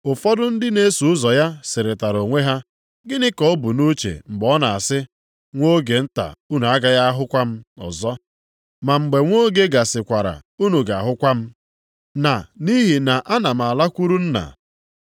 Ụfọdụ ndị na-eso ụzọ ya sịrịtara onwe ha, “Gịnị ka o bu nʼuche mgbe ọ na-asị, ‘Nwa oge nta unu agaghị ahụkwa m ọzọ, ma mgbe nwa oge gasịkwara unu ga-ahụkwa m,’ na ‘Nʼihi na ana m alakwuru Nna’?”